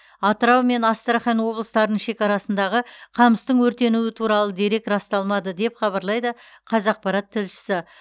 атырау мен астрахан облыстарының шекарасындағы қамыстың өртенуі туралы дерек расталмады деп хабарлайды қазақпарат тілшісі